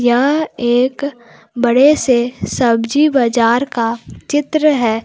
यह एक बड़े से सब्जी बाजार का चित्र है।